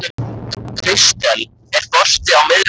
Kristel, er bolti á miðvikudaginn?